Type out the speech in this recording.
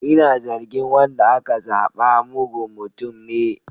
Ina zargin wanda aka zaba mugun mutum ne.